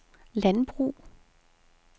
landbrug